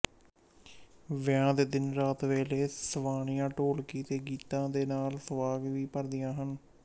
ਵਿਆਹ ਦੇ ਦਿਨੀਂ ਰਾਤ ਵੇਲੇ ਸਵਾਣੀਆਂ ਢੋਲਕੀ ਦੇ ਗੀਤਾਂ ਦੇ ਨਾਲ ਸਵਾਂਗ ਵੀ ਭਰਦੀਆਂ ਹਨ